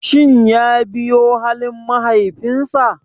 Shin ya biyo halin mahaifinsa?